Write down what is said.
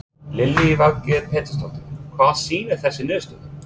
Lillý Valgerður Pétursdóttir: Hvað sýna þessar niðurstöður?